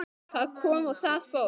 Það kom og það fór.